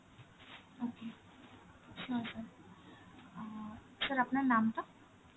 okay sure অ্যাঁ sir আপনার নামটা?